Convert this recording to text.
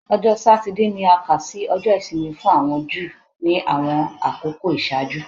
Ọjọ Satidee ni a kà si Ọjọ isimi fun awọn Ju ni awọn akoko iṣaaju